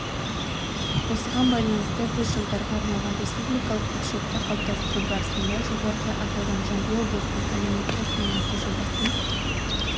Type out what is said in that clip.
осыған байланысты біз жылдарға арналған республикалық бюджетті қалыптастыру барысында жоғарыда аталған жамбыл облысының әлеуметтік маңызды жобасын